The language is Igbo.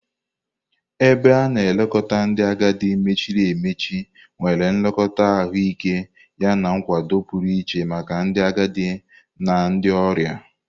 Ebe a na-elekọta ndị agadi mechiri emechi nwere nlekọta ahụike yana nkwado pụrụ iche maka ndị agadi na ndị ọrịa.